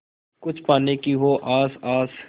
कुछ पाने की हो आस आस